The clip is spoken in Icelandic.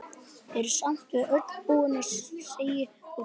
Vertu samt við öllu búin, segi ég dræmt.